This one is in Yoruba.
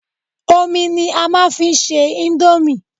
Omi ni a máa fi ń ṣe íńdómì.